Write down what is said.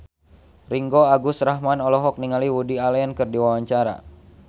Ringgo Agus Rahman olohok ningali Woody Allen keur diwawancara